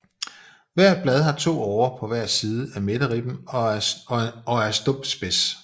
Hvert blad har to årer på hver side af midterribben og er stump spids